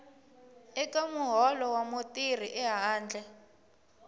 eka muholo wa mutirhi ehandle